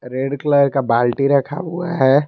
Red colour का बाल्टी रखा हुआ है।